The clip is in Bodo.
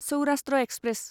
सौराष्ट्र एक्सप्रेस